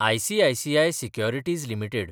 ICICI securities limited